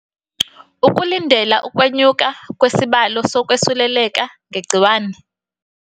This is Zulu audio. Ukulindela ukwe nyuka kwesibalo so kwesuleleka nge gciwane